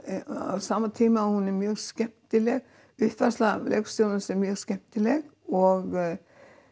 á sama tíma og hún er mjög skemmtileg uppfærsla leikstjórans er mjög skemmtileg og